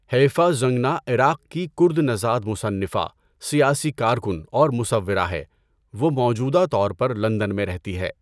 Haifa Zangana عراق کی کرد نژاد مصنفہ، سیاسی کارکن اور مصورہ ہے، وہ موجودہ طور پر لندن میں رہتی ہے۔